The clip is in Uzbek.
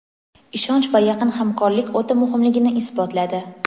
ishonch va yaqin hamkorlik o‘ta muhimligini isbotladi.